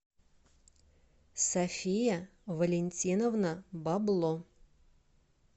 софия валентиновна бабло